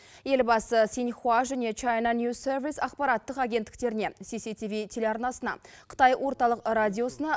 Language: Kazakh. елбасы синьхуа және чайна ньюс сервис ақпараттық агенттіктеріне сиситв телеарнасына қытай орталық радиосына